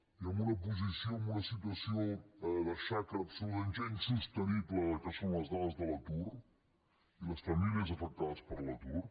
i amb una posició amb un situació de xacra absolutament ja insostenible que són les dades de l’atur i les famílies afectades per l’atur